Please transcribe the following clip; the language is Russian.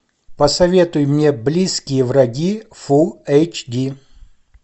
посоветуй мне близкие враги фул эйч ди